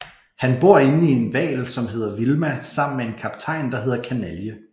Han bor inde i en hval som hedder Vilma sammen med en kaptajn der hedder Kanalje